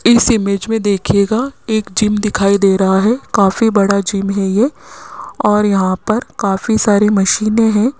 इस इमेज मे देखियेगा एक जिम दिखाई दे रहा है काफी बड़ा जिम है ये और यहां पर काफी सारी मशीनें है।